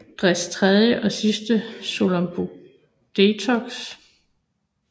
Dres tredje og sidste soloalbum Detox